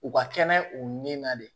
U ka kɛnɛ u nin na de